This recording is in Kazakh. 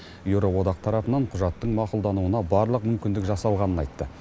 еуроодақ тарапынан құжаттың мақұлдануына барлық мүмкіндік жасалғанын айтты